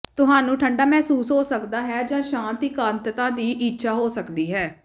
ਤੁਹਾਨੂੰ ਠੰਢਾ ਮਹਿਸੂਸ ਹੋ ਸਕਦਾ ਹੈ ਜਾਂ ਸ਼ਾਂਤ ਇਕਾਂਤਤਾ ਦੀ ਇੱਛਾ ਹੋ ਸਕਦੀ ਹੈ